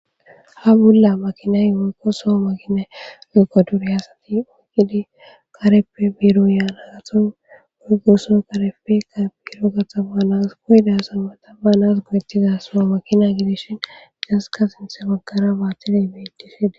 ha bolla makinay morqoso makine liqodure hasati oygidi kareppe biiro yaanagathon muygoso karefe ka bgiiro gatxafa naas goyidasa mataba naas goyettiza so makina gidishin gasska sinthe magkara baattidey bediside